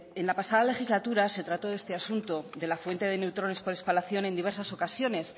en la pasada legislatura se trató este asunto de la fuente de neutrones por espalación en diversas ocasiones